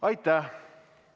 Aitäh!